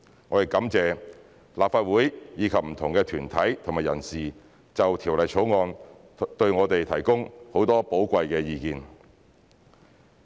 我亦感謝立法會及不同的團體和人士就《條例草案》向我們提供很多寶貴的意見。